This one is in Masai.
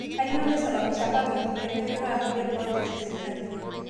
Kanyioo naisababisha public pee menyoraa kulie projects e serkali?